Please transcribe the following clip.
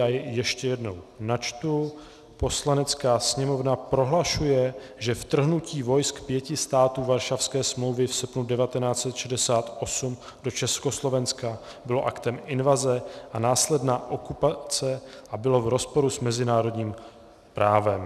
Já jej ještě jednou načtu: Poslanecká sněmovna prohlašuje, že vtrhnutí vojsk pěti států Varšavské smlouvy v srpnu 1968 do Československa bylo aktem invaze a následná okupace a bylo v rozporu s mezinárodním právem.